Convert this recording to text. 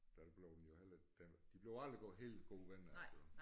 Der blev den jo heller ikke den de blev aldrig gode helt gode venner altså